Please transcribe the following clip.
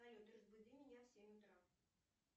салют разбуди меня в семь утра